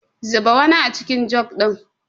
Zuba wani acikin jug ɗin.